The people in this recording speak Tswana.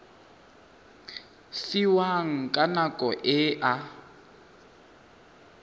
fiwang ka nako e a